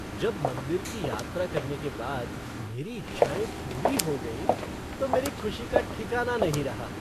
जब मंदिर की यात्रा करने के बाद मेरी इच्छाएं पूरी हो गईं तो मेरी खुशी का ठिकाना नहीं रहा।